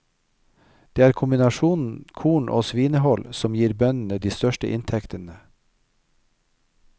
Det er kombinasjonen korn og svinehold som gir bøndene de største inntektene.